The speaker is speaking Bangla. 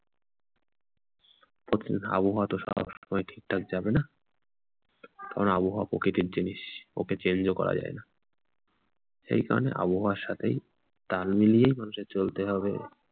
আবহাওয়া তো সবসময় ঠিকঠাক যাবে না। কারণ আবহাওয়া প্রকৃতির জিনিস ওকে change ও করা যায় না। সেই জন্য আবহাওয়া সাথেই তাল মিলিয়েই মানুষের চলতে হবে।